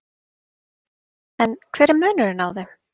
En hver er munurinn á þeim?